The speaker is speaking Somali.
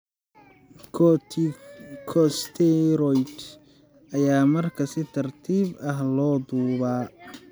Corticosteroids ayaa markaa si tartiib ah loo duubaa.